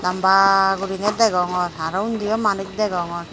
lamba gurinei degongor araw undiyo manuj degongor.